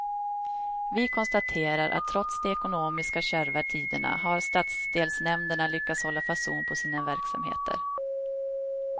Vi konstaterar att trots de ekonomiskt kärva tiderna har stadsdelsnämnderna lyckats hålla fason på sina verksamheter.